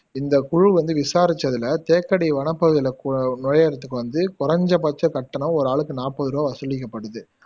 இந்த குழு வந்து விசாரிச்சதுல தேக்கடி வனப்பகுதில கு நுழையிரதுக்கு வந்து கொஞ்சபட்ச கட்டணம் ஒரு ஆளுக்கு நாப்பதுரூபா வசூலிக்கப்படுது